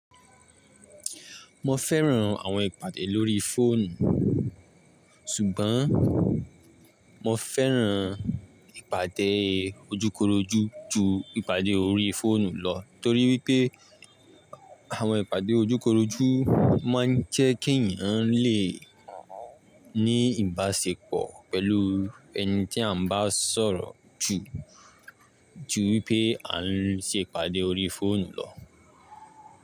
Mo fẹ́ran àwọn ìpàdé lórí fóònù, ṣùgbọ́n mo fẹ́ran ìpàdé ojúkorojú ju ìpàdé orí fóònù lọ torí wipé àwọn ìpàdé ojúkorojú má n jẹ́ kí ènìyàn lè ní ìbáṣepọ̀ pẹ̀lú ẹni tí a ń bá sọ̀rọ̀ jù ju wipẹ́ à ń ṣe ìpàdé orí fóònù lọ.